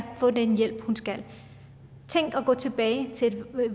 få den hjælp hun skal have tænk at gå tilbage til et